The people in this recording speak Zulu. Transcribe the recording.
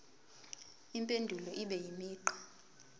impendulo ibe imigqa